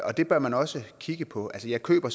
og det bør man også kigge på altså jeg køber